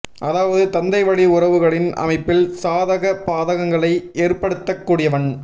அதாவது தந்தைவழி உறவுகளின் அமைப்பில் சாதக பாதகங்களை ஏற்படுத்தக் கூடியவன்